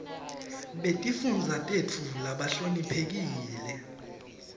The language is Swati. betifundza tetfu labahloniphekile